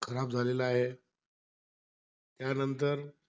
खराब झालेला आहे. त्यांनतर,